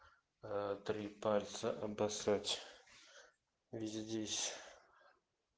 три пальца обоссать здесь